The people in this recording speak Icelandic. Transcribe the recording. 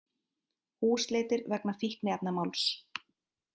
Húsleitir vegna fíkniefnamáls